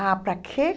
Ah, para quê?